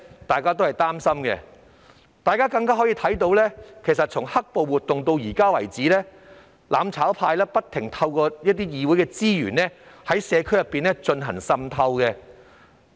大家也可以看到，由"黑暴"活動爆發至現時為止，"攬炒派"不停利用議會資源，在社區內進行滲透。